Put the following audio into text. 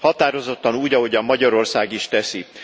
Határozottan, úgy, ahogyan Magyarország is teszi.